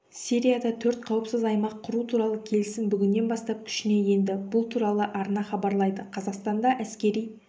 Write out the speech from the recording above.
сирияда төрт қауіпсіз аймақ құру туралы келісім бүгіннен бастап күшіне енді бұл туралы арнахабарлайды қазақстанда әскери